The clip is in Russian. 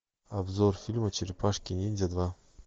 обзор фильма черепашки ниндзя два